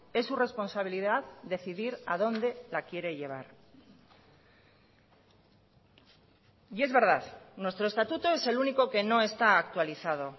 es su responsabilidad decidir a dónde la quiere llevar y es verdad nuestro estatuto es el único que no está actualizado